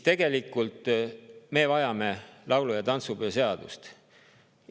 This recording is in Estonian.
Tegelikult me vajame laulu‑ ja tantsupeo seadust.